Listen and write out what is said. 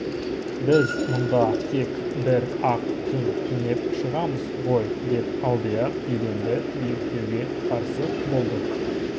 біз мұнда тек бір-ақ түн түнеп шығамыз ғой деп алдияр еденді биіктетуге қарсы болды